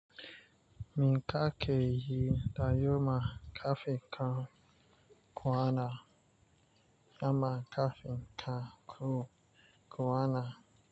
Mi ka ke yi anjima kafin ka kwana, kama kafin ka ku kwana.